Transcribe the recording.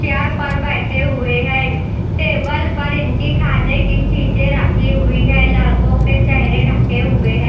Chair पर बैठे हुए हैं टेबल पर इनके खाने की चीजें रखी हुई हैं लड़कों के चेहरे ढके हुए हैं।